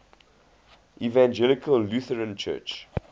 evangelical lutheran church